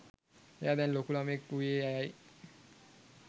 එයා දැන් ලොකු ළමයෙක් වූයේ ඇයයි.